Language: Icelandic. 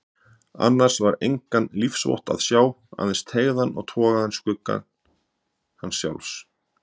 Annars var engan lífsvott að sjá, aðeins teygðan og togaðan skugga hans sjálfs.